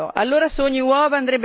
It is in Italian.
E che dire del colesterolo?